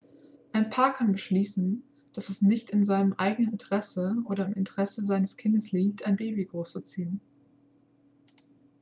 ein paar kann beschließen dass es nicht in seinem eigenen interesse oder im interesse seines kindes liegt ein baby großzuziehen